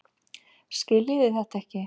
Skiljiði þetta ekki?